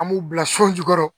An b'u bila so jukɔrɔ